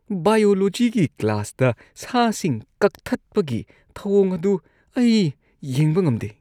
ꯕꯥꯏꯌꯣꯂꯣꯖꯤꯒꯤ ꯀ꯭ꯂꯥꯁꯇ ꯁꯥꯁꯤꯡ ꯀꯛꯊꯠꯄꯒꯤ ꯊꯧꯑꯣꯡ ꯑꯗꯨ ꯑꯩ ꯌꯦꯡꯕ ꯉꯝꯗꯦ꯫